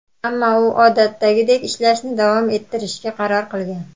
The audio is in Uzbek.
Ammo u odatdagidek ishlashni davom ettirishga qaror qilgan.